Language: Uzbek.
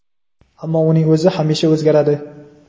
ammo uning o‘zi hamisha o‘zgaradi.